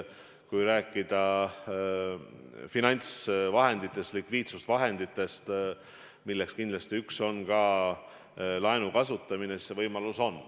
Kui rääkida finantsvahenditest, likviidsusvahenditest, millest kindlasti üks on ka laenu kasutamine, siis see võimalus on.